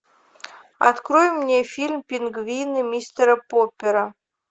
открой мне фильм пингвины мистера поппера